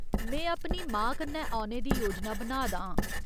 में अपनी मां कन्नै औने दी योजना बना दा आं।